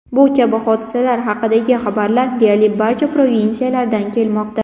Bu kabi hodisalar haqidagi xabarlar deyarli barcha provinsiyalardan kelmoqda.